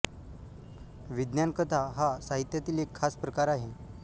विज्ञान कथा हा साहित्यातील एक खास प्रकार आहे